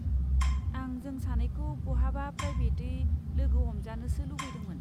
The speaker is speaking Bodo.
आं जों सानैखौ बहाबा प्राइबेटयै लोगो हमजानोसो लुबैदोंमोन।